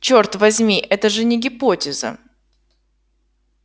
чёрт возьми это же не гипотеза